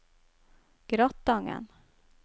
Gratangen